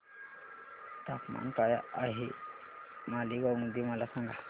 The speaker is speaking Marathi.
तापमान काय आहे मालेगाव मध्ये मला सांगा